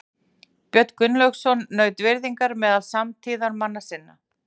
Björn Gunnlaugsson naut virðingar meðal samtíðarmanna sinna.